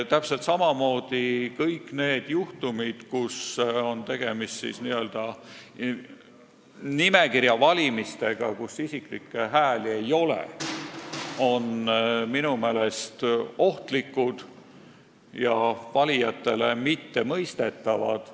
Täpselt samamoodi kõik need juhtumid, kus on tegemist n-ö nimekirja valimistega, st isiklikke hääli ei ole, on minu meelest ohtlikud ega ole valijatele mõistetavad.